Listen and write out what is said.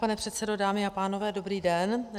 Pane předsedo, dámy a pánové, dobrý den.